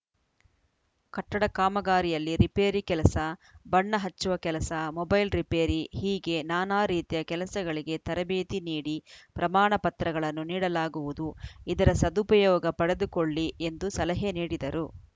ಕಟ್ಟಡ ಕಾಮಗಾರಿಯಲ್ಲಿ ರಿಪೇರಿ ಕೆಲಸ ಬಣ್ಣ ಹಚ್ಚುವ ಕೆಲಸ ಮೊಬೈಲ್‌ ರಿಪೇರಿ ಹೀಗೆ ನಾನಾ ರೀತಿಯ ಕೆಲಸಗಳಿಗೆ ತರಬೇತಿ ನೀಡಿ ಪ್ರಮಾಣ ಪತ್ರಗಳನ್ನು ನೀಡಲಾಗುವುದು ಇದರ ಸದುಪಯೋಗ ಪಡೆದುಕೊಳ್ಳಿ ಎಂದು ಸಲಹೆ ನೀಡಿದರು